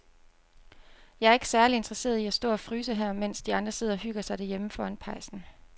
Jeg er ikke særlig interesseret i at stå og fryse her, mens de andre sidder og hygger sig derhjemme foran pejsen.